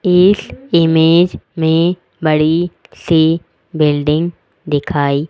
इस इमेज में बड़ी सी बिल्डिंग दिखाई--